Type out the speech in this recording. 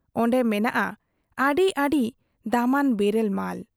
ᱚᱱᱰᱮ ᱢᱮᱱᱟᱜ ᱟ ᱟᱹᱰᱤ ᱟᱹᱰᱤ ᱫᱟᱢᱟᱱ ᱵᱮᱨᱮᱞ ᱢᱟᱞ ᱾